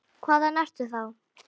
Hvaðan ertu þá?